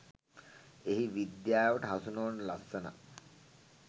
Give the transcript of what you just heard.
එහි විද්‍යාවට හසු නොවන ලස්සනක්